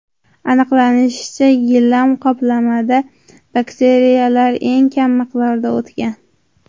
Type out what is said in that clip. Aniqlanishicha, gilam qoplamada bakteriyalar eng kam miqdorda o‘tgan.